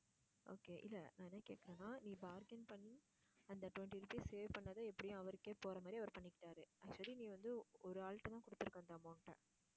okay இல்லை நான் என்ன கேட்கிறேன்னா நீ bargain பண்ணி அந்த twenty rupees save பண்ணதை எப்படியும் அவருக்கே போற மாதிரி அவர் பண்ணிக்கிட்டாரு. சரி நீ வந்து, ஒ~ ஒரு ஆள்கிட்டதான் கொடுத்திருக்க அந்த amount அ